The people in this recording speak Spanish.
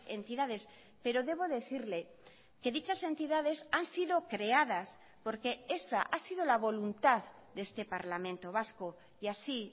entidades pero debo decirle que dichas entidades han sido creadas porque esa ha sido la voluntad de este parlamento vasco y así